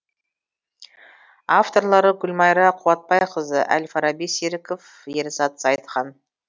авторлары гүлмайра қуатбайқызы әл фараби серіков ерзат зайытхан